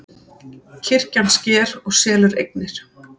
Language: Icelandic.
Kirkjan sker og selur eignir